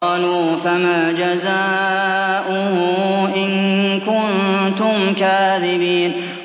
قَالُوا فَمَا جَزَاؤُهُ إِن كُنتُمْ كَاذِبِينَ